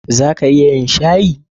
Za a iya yin shayi?